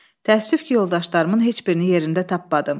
Təəssüf ki, yoldaşlarımın heç birini yerində tapmadım.